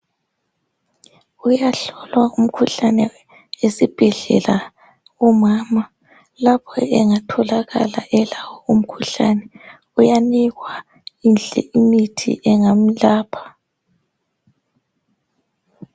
Kuyahlolwa umkhuhlane esibhedlela. Umama lapho engatholakala elawo umkhuhlane uyanikwa imithi engamlapha.